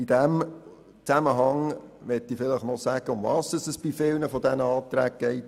In diesem Zusammenhang möchte ich noch sagen, worum es bei vielen dieser Anträge geht.